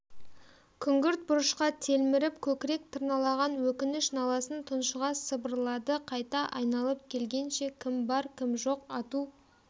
күңгірт бұрышқа телміріп көкірек тырналаған өкініш-наласын тұншыға сыбырлады қайта айналып келгенше кім бар кім жоқ ату